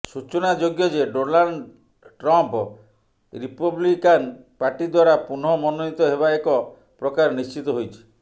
ସୂଚନାଯୋଗ୍ୟ ଯେ Donald Trump Republican party ଦ୍ବାରା ପୁନଃ ମନୋନୀତ ହେବା ଏକ ପ୍ରକାର ନିଶ୍ଚିତ ହୋଇଛି